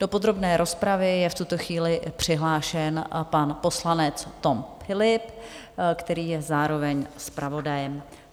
Do podrobné rozpravy je v tuto chvíli přihlášen pan poslanec Tom Philipp, který je zároveň zpravodajem.